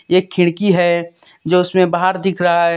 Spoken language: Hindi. एक खिड़की है जो उसमें बाहर दिख रहा है।